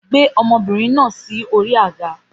Gbé ọmọbìnrin náà sí orí àga